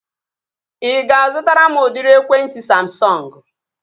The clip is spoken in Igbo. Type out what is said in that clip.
Ị ga-azụtara m udịri ekwentị Samsọngu?